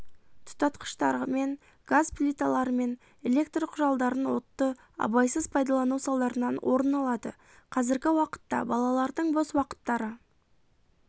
тұтатқыштармен газ плиталарымен электрқұралдарын отты абайсыз пайдалану салдарынан орын алады қазіргі уақытта балалардың бос уақыттары